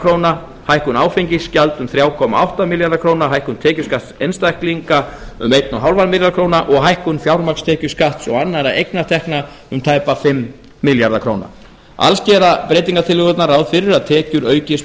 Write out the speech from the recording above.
króna hækkun áfengisgjalds um þrjú komma átta milljarða króna hækkun tekjuskatts einstaklinga um eins og hálfan milljarð króna og hækkun fjármagnstekjuskatts og annarra eignatekna um tæpa fimm milljarða króna alls gera breytingartillögurnar ráð fyrir að tekjur aukist